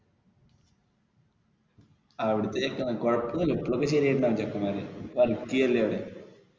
അവിടത്തെ ചെക്കെന്മാര് കുഴപ്പൊന്നും ഇല്ല ഇപ്പോഴൊക്കെ ശെരിയായിട്ടുണ്ടാവും ചെക്കെന്മാര് work ചെയ്യല്ലേ അവിടെ.